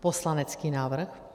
Poslanecký návrh.